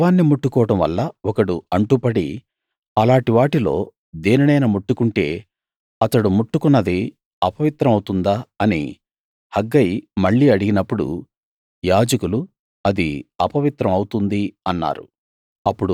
శవాన్ని ముట్టుకోవడం వల్ల ఒకడు అంటుపడి అలాటి వాటిలో దేనినైనా ముట్టుకుంటే అతడు ముట్టుకున్నది అపవిత్రం అవుతుందా అని హగ్గయి మళ్లీ అడిగినప్పుడు యాజకులు అది అపవిత్రం అవుతుంది అన్నారు